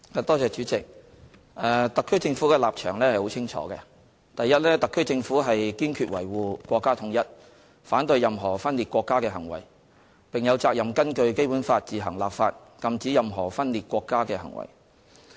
代理主席，特區政府的立場十分清楚，第一，特區政府堅決維護國家統一，反對任何分裂國家的行為，並有責任根據《基本法》自行立法，禁止任何分裂國家的行為。